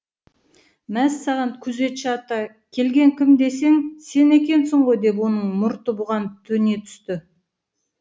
мәссаған күзетші ата келген кім десем сен екенсің ғой деп оның мұрты бұған төне түсті